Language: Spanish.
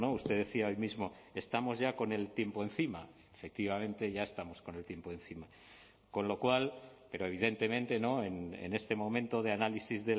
usted decía hoy mismo estamos ya con el tiempo encima efectivamente ya estamos con el tiempo encima con lo cual pero evidentemente en este momento de análisis